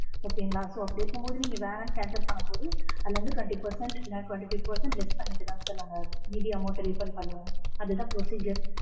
okay ங்களா. so அப்படி இருக்கும் போது, நீங்க வேணான்னு cancel பண்ணும்போது, அதுல இருந்து twenty percent இல்லனா twenty five percent less பண்ணிட்டுதான் sir நாங்க மீதி amount refund பண்ணுவோம். அதுதான் procedure